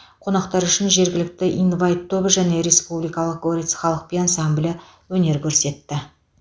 қонақтар үшін жергілікті инвайт тобы және республикалық горец халық би ансамблі өнер көрсетті